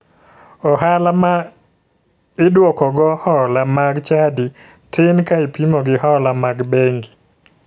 Ohala ma iduokogo hola mag chadi tin ka ipimo gi hola mag bengi